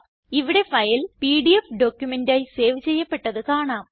ഇവിടെ file PDF ഡോക്യുമെന്റായി save ചെയ്യപ്പെട്ടത് കാണാം